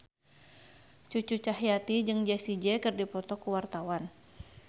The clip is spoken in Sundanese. Cucu Cahyati jeung Jessie J keur dipoto ku wartawan